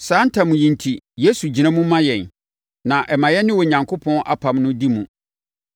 Saa ntam yi enti, Yesu gyina mu ma yɛn, na ɛma yɛne Onyankopɔn apam no di mu.